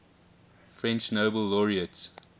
french nobel laureates